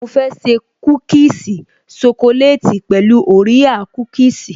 Mo fẹ́ ṣe kúkìsì ṣokoleti pẹ̀lú orea kúkìsì